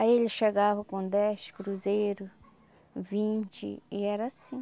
Aí ele chegava com dez cruzeiro, vinte e era assim.